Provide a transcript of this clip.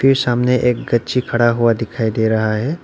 सामने एक गच्छी खड़ा हुआ दिखाई दे रहा है।